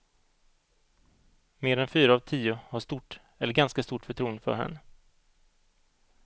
Mer än fyra av tio har stort eller ganska stort förtroende för henne.